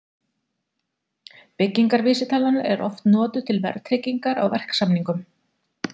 Byggingarvísitalan er oft notuð til verðtryggingar á verksamningum.